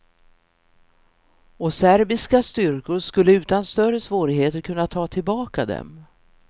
Och serbiska styrkor skulle utan större svårigheter kunna ta tillbaka dem.